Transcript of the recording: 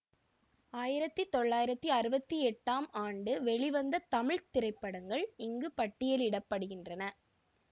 ஆயிரத்தி தொள்ளாயிரத்தி அறுபத்தி எட்டாம் ஆண்டு வெளிவந்த தமிழ் திரைப்படங்கள் இங்கு பட்டியலிட படுகின்றன